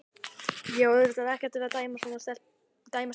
Ég á auðvitað ekkert að vera að dæma stelpugreyið.